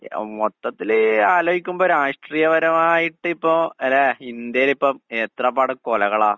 അഹ് മൊത്തത്തില് ആലോചിക്കുമ്പ രാഷ്ട്രീയപരമായിട്ടിപ്പോ അല്ലേ ഇന്ത്യേലിപ്പം എത്രപാട് കൊലകളാ?